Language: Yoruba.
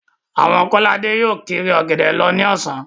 Àwọn Kọ́ládé yóò kiri Ọ̀gẹ̀dẹ̀ lọ ní ọ̀sán